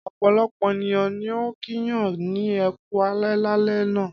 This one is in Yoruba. Ọ̀pọ̀lọpọ̀ ènìyàn ni ó kíyàn ní ẹ kú alẹ́ lálẹ́ àná.